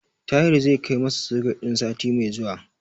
Tahir zai kai masa soket din sati mai zuwa.